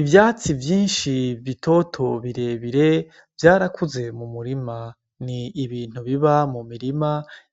Ivyatsi vyinshi bitoto birebire vyarakuze mu murima ni ibintu biba mu mirima